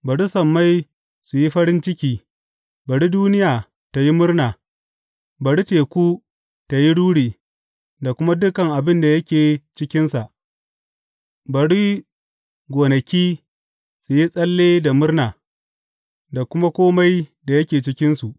Bari sammai su yi farin ciki, bari duniya tă yi murna; bari teku tă yi ruri, da kuma dukan abin da yake cikinsa; bari gonaki su yi tsalle da murna, da kuma kome da yake cikinsu.